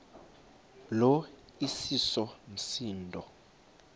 lo iseso msindo